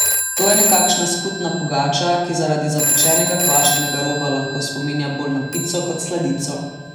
To je nekakšna skutna pogača, ki zaradi zapečenega kvašenega roba lahko spominja bolj na pico kot sladico.